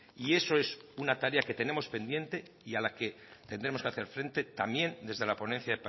y eso es una tarea que tenemos pendiente y a la que tendremos que hacer frente también desde la ponencia